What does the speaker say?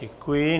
Děkuji.